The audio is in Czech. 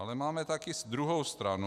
Ale máme taky druhou stranu.